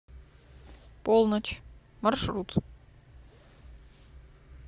полночь маршрут